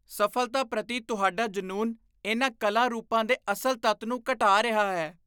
ਸਫ਼ਲਤਾ ਪ੍ਰਤੀ ਤੁਹਾਡਾ ਜਨੂੰਨ ਇਨ੍ਹਾਂ ਕਲਾ ਰੂਪਾਂ ਦੇ ਅਸਲ ਤੱਤ ਨੂੰ ਘਟਾ ਰਿਹਾ ਹੈ।